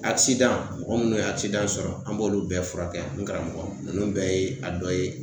mɔgɔ munnu ye sɔrɔ, an b'olu bɛɛ furakɛ n karamɔgɔ nunnu bɛɛ ye a dɔ ye.